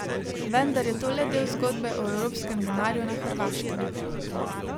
Vendar je to le del zgodbe o evropskem denarju na Hrvaškem.